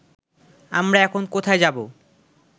আমরা এখন কোথায় যাব